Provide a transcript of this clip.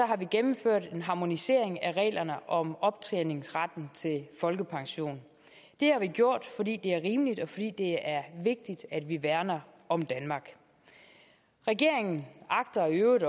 har vi gennemført en harmonisering af reglerne om optjeningsretten til folkepension det har vi gjort fordi det er rimeligt og fordi det er vigtigt at vi værner om danmark regeringen agter i øvrigt